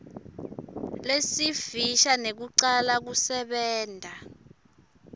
lesifisha nekucala kusebenta